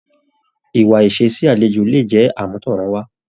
Ìwà ìṣe sí àlejò lè jẹ àmútọrunwa.